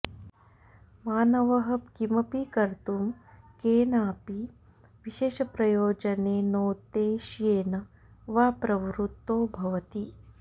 मानवः किमपि कर्तुं केनाऽपि विशेषप्रयोजनेनोद्देश्येन वा प्रवृत्तो भवति